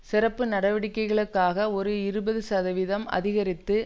சிறப்பு நடவடிக்கைகளுக்காக ஒரு இருபது சதவீதம் அதிகரித்து